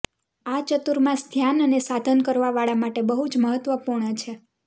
આ ચાતુર્માસ ધ્યાન અને સાધન કરવા વાળા માટે બહુજ મહત્વપૂર્ણ છે